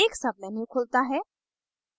एक menu खुलता है